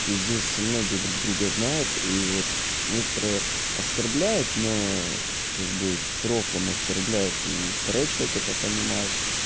здесь многие другие знают и вот некоторые оскорбляют но как бы взрослым оскорбляет и второй человек это понимает